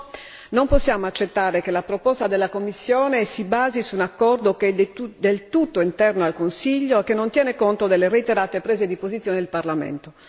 Perciò, non possiamo accettare che la proposta della Commissione si basi su un accordo che è del tutto interno al Consiglio, che non tiene conto delle reiterate prese di posizione del Parlamento.